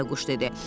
Bayquş dedi.